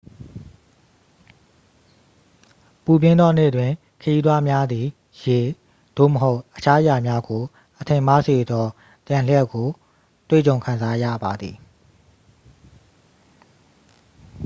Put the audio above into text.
ပူပြင်းသောနေ့တွင် ခရီးသွားများသည် ရေ သို့မဟုတ် အခြားအရာများကို အထင်မှားစေသော တံလျှပ်ကို တွေ့ကြုံခံစားရပါသည်။